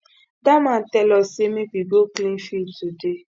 dat man tell us make we go clean field today